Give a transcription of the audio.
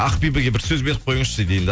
ақбибіге бір сөз беріп қойыңызшы дейді